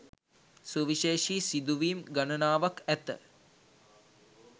සුවිශේෂී සිදුවීම් ගණනාවක් ඇත